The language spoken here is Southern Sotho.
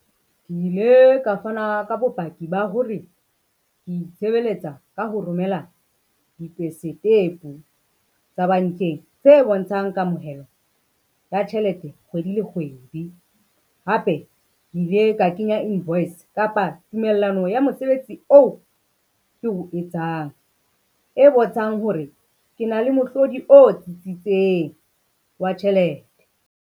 Ke ile ka fana ka bopaki ba hore, ke itshebeletsa ka ho romela tsa bankeng tse bontshang kamohelo ya tjhelete kgwedi le kgwedi. Hape ke ile ka kenya invoice kapa tumellano ya mosebetsi oo ke o etsang, e bontshang hore ke na le mohlodi o tsitsitseng wa tjhelete.